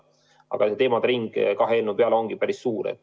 Aga teemade ring kahe eelnõu peale on päris suur.